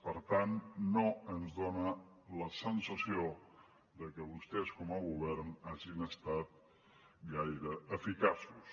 per tant no ens fa la sensació de que vostès com a govern hagin estat gaire eficaços